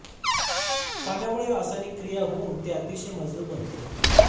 पाण्यामुळे रासायनिक क्रिया होऊन हे अतिशय मजबूत बनते